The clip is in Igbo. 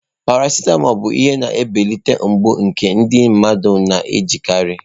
Paracitamọ bụ ihe na-ebelata mgbu nke ndị mmadụ na-ejikarị.